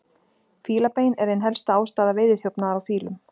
Fílabein er ein helsta ástæða veiðiþjófnaðar á fílum.